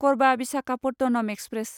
कर्बा Visakhapatnam express